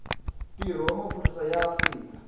ntirho wa maphorisa ya afrika